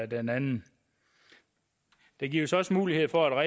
den anden der gives også mulighed for